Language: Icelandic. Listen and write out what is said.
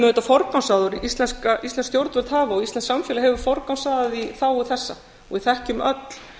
íslensk stjórnvöld og íslenskt samfélag hefur forgangsraðað í þágu þessa og við þekkjum öll